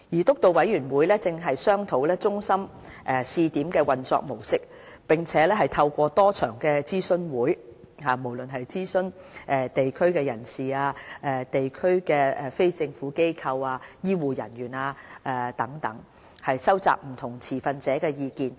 督導委員會正商討中心試點的運作模式，並透過多場諮詢會，諮詢地區人士、地區非政府機構及醫護人員等，收集不同持份者的意見。